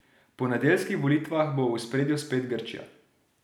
Po nedeljskih volitvah bo v ospredju spet Grčija.